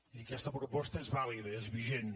i aquesta proposta és vàlida i és vigent